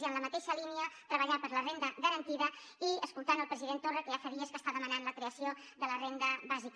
i en la mateixa línia treballar per la renda garantida i escoltant el president torra que ja fa dies que està demanant la creació de la renda bàsica